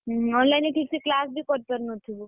ହୁଁ online ରେ ଠିକ ସେବି class ବି କରିପାରୁନଥିବୁ!